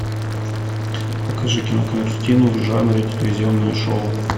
покажи кинокартину в жанре телевизионное шоу